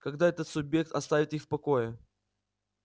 когда этот субъект оставит их в покое